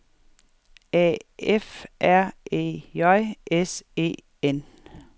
A F R E J S E N